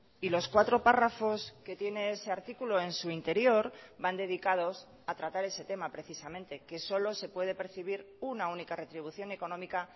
y los cuatro párrafos que tiene ese artículo en su interior van dedicados a tratar ese tema precisamente que solo se puede percibir una única retribución económica